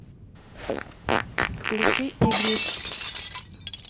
включи игнис